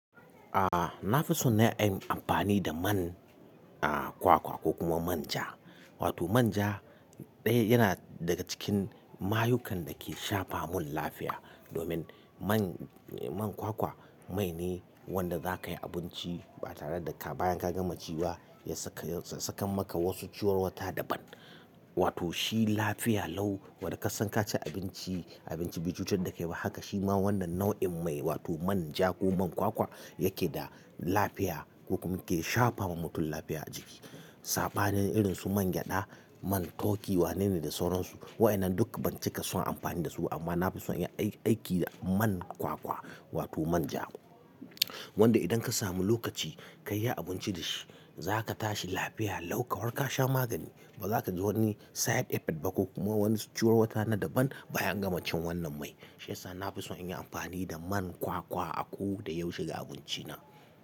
Ah, na fi so na yi amfani da man, a, kwakwa ko kuma manja. Wato manja ɗaya yana daga cikin mayukan da ke shafa mun lafiya. Domin man, man kwakwa mai ne wanda za ka yi abinci ba tare da ka bayan ka gama ci ba ya saka, ya saka maka wasu ciwon wuta daban. Wato shi lafiya lau wadda ka san ka ci abinci, abinci bai cutar da kai ba haka shima wannan nau'in mai wato manja ko man kwakwa yake da lafiya ko kuma yake shafa ma mutum lafiya a jiki. Saɓanin irin su mangyaɗa, man turkey wanene da sauransu. Wa'ina duk ban cika son amfani da su amma na fi so in yi aiki da man kwakwa wato manja. Wanda idan ka samu lokaci ka yi abinci da shi, za ka tashi lafiya lau kamarka sha magani ba za ka ji wani side effect ba ko kuma wani ciwon wuta na daban bayan gama cin wannan mai. Shi yasa na fi so in yi amfani da man kwakwa a ko da yaushe ga abinci na.